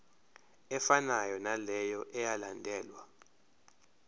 efanayo naleyo eyalandelwa